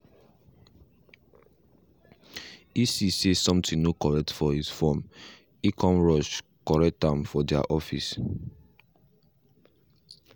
he see say something no correct for his form e come rush correct am for their office